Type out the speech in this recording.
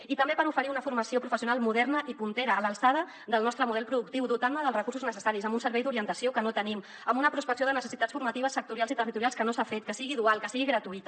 i també per oferir una formació professional moderna i puntera a l’alçada del nostre model productiu dotant la dels recursos necessaris amb un servei d’orientació que no tenim amb una prospecció de necessitats formatives sectorials i territorials que no s’ha fet que sigui dual que sigui gratuïta